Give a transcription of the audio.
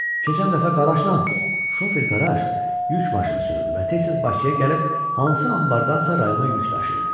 Keçən dəfə Qaraşla... şofer Qaraş yük maşını sürürdü və tez-tez Bakıya gəlib hansı anbardanasa rayona yük daşıyırdı.